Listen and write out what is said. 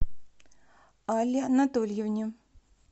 алле анатольевне